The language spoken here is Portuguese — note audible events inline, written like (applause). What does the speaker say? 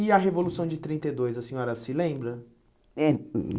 E a Revolução de trinta e dois, a senhora se lembra? (unintelligible)